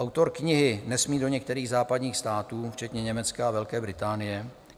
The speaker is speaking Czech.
Autor knihy nesmí do některých západních států, včetně Německa a Velké Británie.